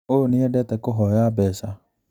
ũyũ nĩendete kũhoya mbeca